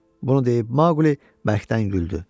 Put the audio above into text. Bunu deyib Maquli bərkdən güldü.